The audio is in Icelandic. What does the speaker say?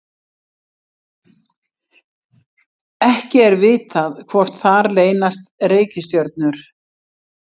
ekki er vitað hvort þar leynast reikistjörnur